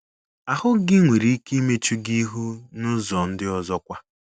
Ahụ́ gị nwere ike imechu gị ihu n’ụzọ ndị ọzọ kwa.